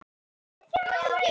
Olían er takmörkuð auðlind.